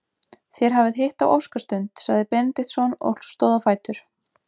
Þér hafið hitt á óskastund, sagði Benediktsson og stóð á fætur.